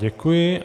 Děkuji.